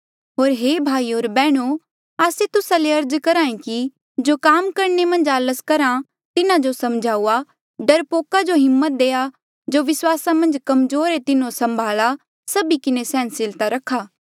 होर हे भाईयो होर बैहणो आस्से तुस्सा ले अर्ज करहा ऐें कि जो काम करणे मन्झ आलस करहा तिन्हा जो समझाऊआ डरपोका जो हिम्मत देआ जो विस्वासा मन्झ कमजोर ऐें तिन्हो संभाला सभी किन्हें सैहनसीलता रखा